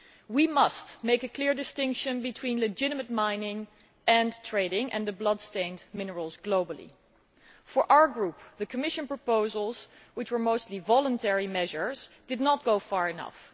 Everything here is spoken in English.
We must make a clear distinction between legitimate mining and trading in blood stained minerals globally. For our Group, the Commission proposals which were mostly voluntary measures did not go far enough.